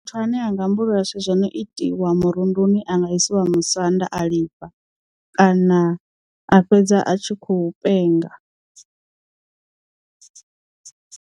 Muthu ane anga ambulula zwithu zwo no itiwa murunduni anga isiwa musanda a lifha kana a fhedza a tshi khou penga.